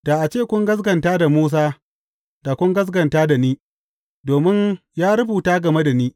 Da a ce kun gaskata da Musa, da kun gaskata ni, domin ya rubuta game da ni.